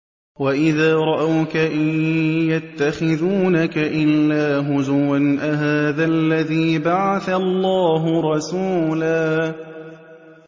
وَإِذَا رَأَوْكَ إِن يَتَّخِذُونَكَ إِلَّا هُزُوًا أَهَٰذَا الَّذِي بَعَثَ اللَّهُ رَسُولًا